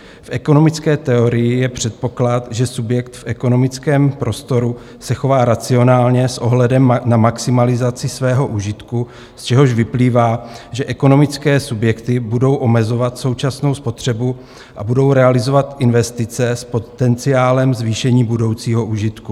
V ekonomické teorii je předpoklad, že subjekt v ekonomickém prostoru se chová racionálně s ohledem na maximalizaci svého užitku, z čehož vyplývá, že ekonomické subjekty budou omezovat současnou spotřebu a budou realizovat investice s potenciálem zvýšení budoucího užitku.